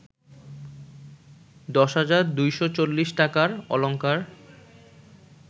১০২৪০ টাকার অলঙ্কার